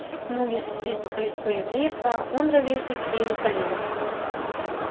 ну если судить по количеству евреев то он ровесник иерусалима